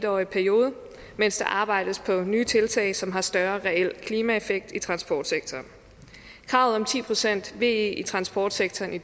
årig periode mens der arbejdes på nye tiltag som har større reel klimaeffekt i transportsektoren kravet om ti procent ve i transportsektoren i